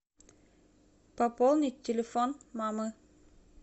пополнить телефон мамы